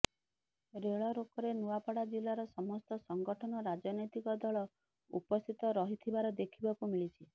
ରେଳରୋକରେ ନୂଆପଡା ଜିଲାର ସମସ୍ତ ସଂଗଠନ ରାଜନୈତିକ ଦଳ ଉପସ୍ଥିତ ରହିଥିବାର ଦେଖିବାକୁ ମିଳିଛି